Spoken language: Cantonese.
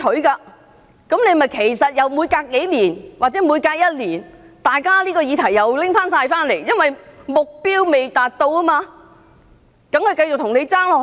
結果還不是每隔數年或每隔一年，大家又重新討論這議題，因為目標未達到，當然繼續向政府爭取。